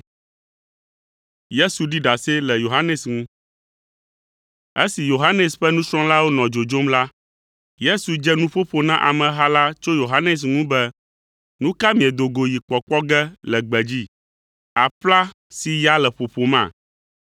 Esi Yohanes ƒe nusrɔ̃lawo nɔ dzodzom la, Yesu dze nuƒoƒo na ameha la tso Yohanes ŋu be, “Nu ka miedo go yi kpɔkpɔ ge le gbedzi? Aƒla si ya le ƒoƒoma?